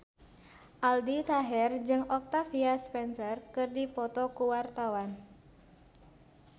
Aldi Taher jeung Octavia Spencer keur dipoto ku wartawan